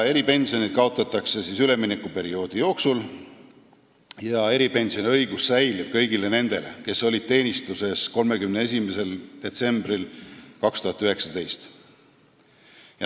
Eripensionid kaotatakse üleminekuperioodi jooksul ja eripensioniõigus säilib kõigil neil, kes on teenistuses 31. detsembril 2019.